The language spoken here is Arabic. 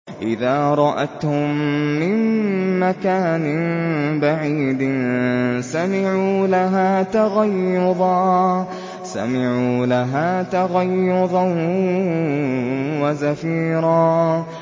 إِذَا رَأَتْهُم مِّن مَّكَانٍ بَعِيدٍ سَمِعُوا لَهَا تَغَيُّظًا وَزَفِيرًا